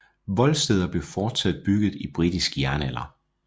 Voldsteder blev fortsat bygget i britisk jernalder